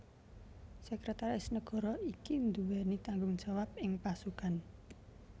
Sekretaris Negara iki nduweni tanggung jawab ing pasukan